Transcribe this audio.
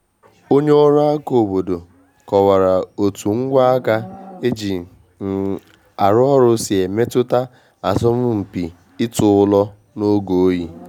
Onye ọrụ aka obodo kọwara otu ngwa aka e ji um arụ ọrụ si emetụta asọmupi ịtụ ụlọ n’oge oyi